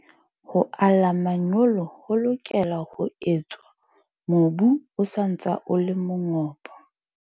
Ho ala manyolo ho lokela ho etswa mobu o sa ntse o le mongobo.